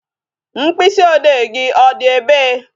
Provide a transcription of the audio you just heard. Mkpịsị odee gị ọ dị ebe?